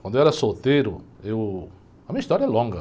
Quando eu era solteiro, eu... A minha história é longa.